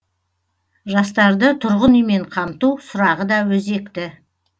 жастарды тұрғын үймен қамту сұрағы да өзекті